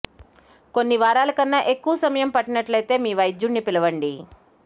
కొన్ని వారాల కన్నా ఎక్కువ సమయం పట్టినట్లయితే మీ వైద్యుడిని పిలవండి